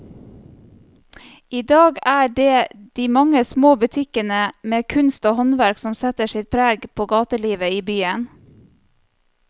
I dag er det de mange små butikkene med kunst og håndverk som setter sitt preg på gatelivet i byen.